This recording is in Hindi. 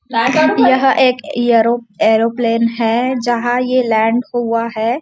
यह एक एरोप्लेन है जहाँ ये लँड हुआ है।